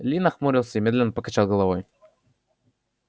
ли нахмурился и медленно покачал головой